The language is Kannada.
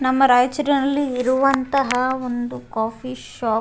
ನಮ್ಮ ರಯ್ಚೂರಿನಲ್ಲಿ ಇರುವಂತಹ ಒಂದು ಕಾಫಿ ಶಾಪ್ .